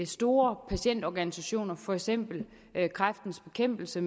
store patientorganisationer for eksempel kræftens bekæmpelse